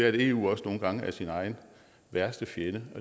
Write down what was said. at eu også nogle gange er sin egen værste fjende